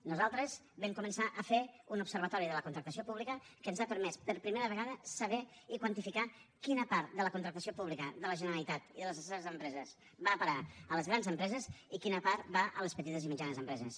nosaltres vam començar a fer un observatori de la contractació pública que ens ha permès per primera vegada saber i quantificar quina part de la contractació pública de la generalitat i de les seves empreses va a parar a les grans empreses i quina part va a les petites i mitjanes empreses